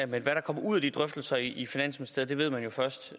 men hvad der kommer ud af de drøftelser i finansministeriet ved man jo først